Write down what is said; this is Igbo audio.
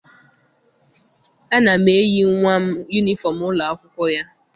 Ana m eyi nwa m yunifọm ụlọ akwụkwọ ya.